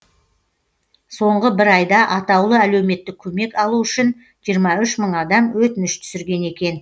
соңғы бір айда атаулы әлеуметтік көмек алу үшін жиырма үш мың адам өтініш түсірген екен